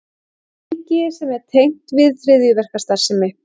Ríki sem er tengt við hryðjuverkastarfsemi